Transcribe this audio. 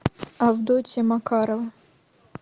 авдотья макарова